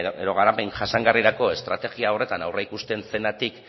edo garapen jasangarrirako estrategia horretan aurreikusten zenatik